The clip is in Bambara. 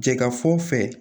Jaa fɔ fɛ